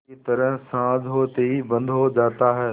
की तरह साँझ होते ही बंद हो जाता है